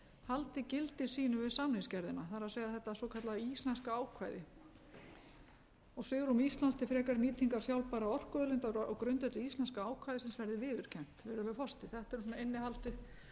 haldi gildi sínu við samningsgerðina það er þetta svokallaða íslenska ákvæði svigrúm íslands til frekari nýtingar sjálfbærra orkuauðlinda á grundvelli íslenska ákvæðisins verði viðurkennt virðulegur forseti þetta er svona innihaldið